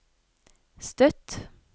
Støtt